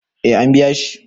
eh an biya shi